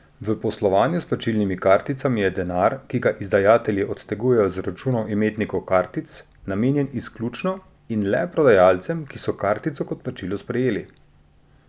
V poslovanju s plačilnimi karticami je denar, ki ga izdajatelji odtegujejo z računov imetnikov kartic, namenjen izključno in le prodajalcem, ki so kartico kot plačilo sprejeli!